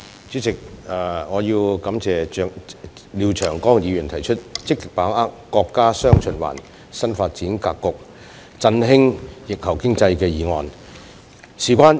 主席，我感謝廖長江議員提出"積極把握國家'雙循環'新發展格局，振興疫後經濟"議案。